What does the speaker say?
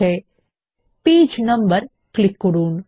নথিতে পৃষ্ঠা নম্বর প্রদর্শন করাতে পেজ নাম্বার ক্লিক করুন